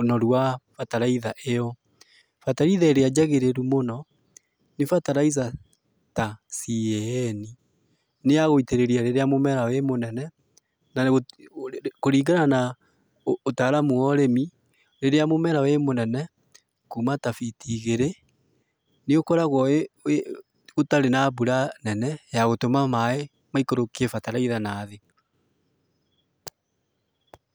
ũnorũ wa bataraitha ĩyo. Bataraitha ĩrĩa njagĩrĩru mũno nĩ bataraitha ta CAN nĩ ya gũitĩrĩria rĩrĩa mũmera wĩ mũnene na kũrĩngana na ũtaramũ wa ũrĩmi, rĩrĩa mũmera wĩ mũnene kuuma ta biti igĩrĩ nĩgũkoragwo gũtarĩ na mbura nene ya gũtuma maĩ maikũrũkie bataraitha nathĩ